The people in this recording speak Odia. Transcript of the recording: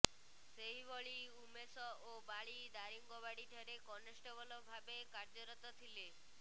ସେହିଭଳି ଉମେଶ ଓ ବାଳୀ ଦାରିଙ୍ଗବାଡିଠାରେ କନେଷ୍ଟବଲ ଭାବେ କାର୍ଯ୍ୟରତ ଥିଲେ